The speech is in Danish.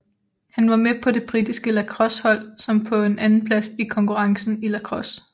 Han var med på det britiske lacrossehold som kom på en andenplads i konkurrencen i lacrosse